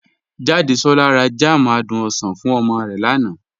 Jàdésolá rà jam àdùn osan fún omo rẹ lánà.